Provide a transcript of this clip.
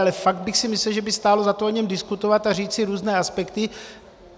Ale fakt bych si myslel, že by stálo za to o něm diskutovat a říct si různé aspekty.